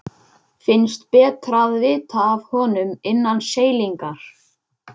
Finnst betra að vita af honum innan seilingar.